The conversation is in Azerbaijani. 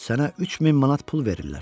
Sənə 3000 manat pul verirlər.